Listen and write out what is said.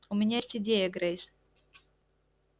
у меня есть идея грейс